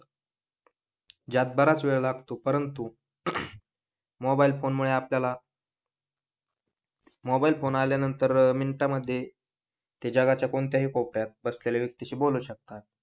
ज्यात बराच वेळ लागतो परंतू मोबाईल फोन मुळे आपल्याला मोबाईल फोन आल्यानंतर मिनटामध्ये ते जगाच्या कोणत्याही कोपऱ्यात बसलेल्या व्यक्तीशी बोलू शकतात